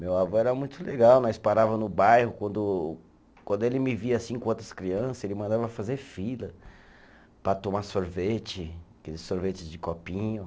Meu avô era muito legal, nós parava no bairro, quando ele me via assim com outras crianças, ele mandava fazer fila para tomar sorvete, aqueles sorvetes de copinho.